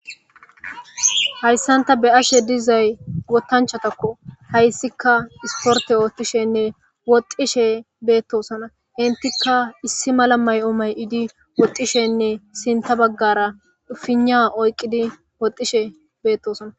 Hayssanta be ashe dizay wotanchatakko hayssika isporte ootishenne woxxishe beettosana intikka issi mala may'omay idi woxxishenne sinta baggara fina oyqqidi woxxishe beettosona.